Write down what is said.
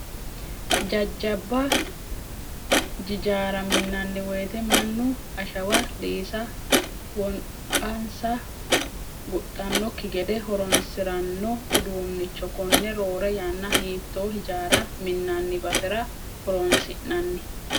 Jajjaba jijaarra minnanni woyiite mannu ashawa liisanni wonqansa guxxanoki gede horonsirano uduunnicho konne roore yanna hiittoo hijaara minnani basera horonsi'nanni?